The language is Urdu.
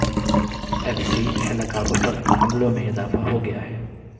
ایف سی اہلکاروں پر حملوں میں اضافہ ہو گیا ہے